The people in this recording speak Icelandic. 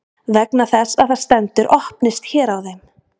vegna þess að það stendur „opnist hér“ á þeim